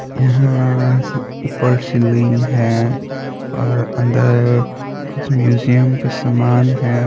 यहा ऊपर सिल्लिंग है और अंदर कुछ म्यूसियम का समान है।